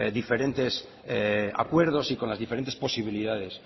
diferentes acuerdos y con las diferentes posibilidades